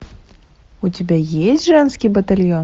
у тебя есть женский батальон